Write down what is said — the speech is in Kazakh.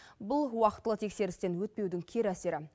бұл уақытылы тексерістен өтпеудің кері әсері